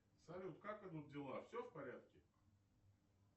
салют как идут дела все в порядке